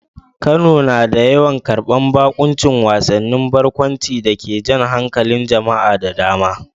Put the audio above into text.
Kano na yawan karbar baƙuncin wasannin barkwanci da ke jan hankalin jama'a da dama.